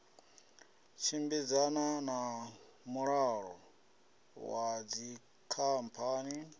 tshimbidzana na mulayo wa dzikhamphani